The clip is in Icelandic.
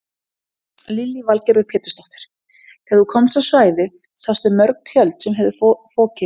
Lillý Valgerður Pétursdóttir: Þegar þú komst á svæðið sástu mörg tjöld sem höfðu fokið hérna?